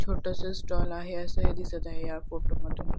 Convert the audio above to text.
छोटस स्टॉल आहे असही दिसत आहे या फोटो मधून.